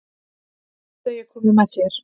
Viltu að ég komi með þér?